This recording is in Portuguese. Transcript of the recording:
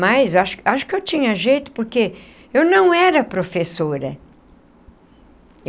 Mas eu acho acho que eu tinha jeito, porque eu não era professora.